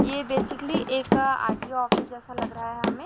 ये बेसिकली एक RTO office जैसा लग रहा है हमे--